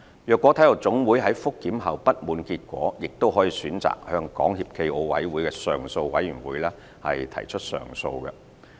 若體育總會在覆檢後不滿結果，亦可選擇向港協暨奧委會的上訴委員會提出上訴。